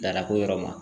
Dalako yɔrɔ ma